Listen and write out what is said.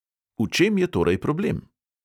V čem je torej problem?